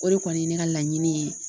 O de kɔni ye ne ka laɲini ye